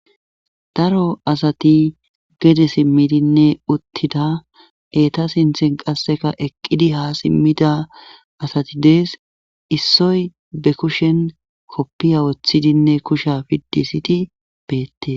Daro asati gede simmidinne uttida eta sinthen qasseka eqqidi haa simmida asati dees issoy be kushen koppiya woththidinne kusha piddisiti beette.